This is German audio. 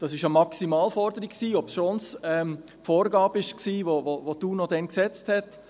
Das war eine Maximalforderung, obschon es eine Vorgabe war, welche die UNO damals gesetzt hat.